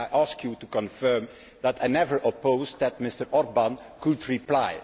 I ask you to confirm that I never opposed that Mr Orbán could reply.